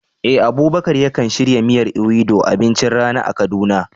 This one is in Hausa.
Eh, Abubakar yakan shirya miyar Ewedu abincin rana a Kaduna.